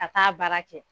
Ka taa baara kɛ